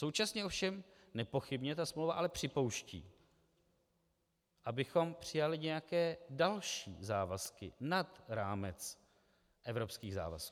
Současně ovšem nepochybně ta smlouva ale připouští, abychom přijali nějaké další závazky nad rámec evropských závazků.